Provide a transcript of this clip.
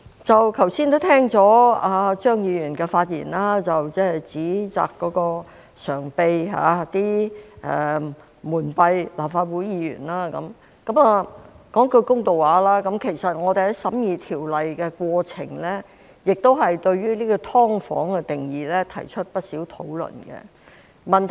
剛才聽到張宇人議員的發言，他指責常秘蒙蔽立法會議員，說句公道話，其實我們在審議《條例草案》的過程中，亦對"劏房"的定義提出了不少討論。